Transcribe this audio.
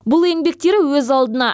бұл еңбектері өз алдына